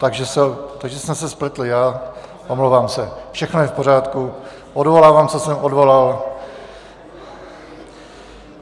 Takže jsem se spletl já, omlouvám se, všechno je v pořádku, odvolávám, co jsem odvolal.